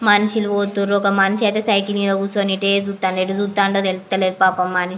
మనుషులు పోతున్నారు ఒక మనిషి ఐతే సైకిల్ మీద కూర్చొని ఇటే చూస్తా ఉన్నాడు కానా తేలేస్తలేదు పాపం మన --